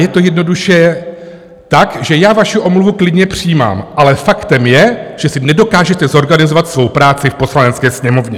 Je to jednoduše tak, že já vaši omluvu klidně přijímám, ale faktem je, že si nedokážete zorganizovat svou práci v Poslanecké sněmovně.